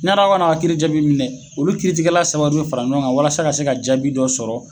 Yann'aw kan'a ka kiiri jaabi minɛ olu kiiritigɛla saba de bɛ fara ɲɔgɔn kan walasa ka se ka jaabi dɔ sɔrɔ.